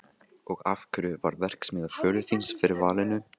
Og af hverju varð verksmiðja föður þíns fyrir valinu?